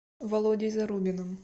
володей зарубиным